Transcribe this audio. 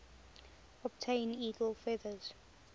obtain eagle feathers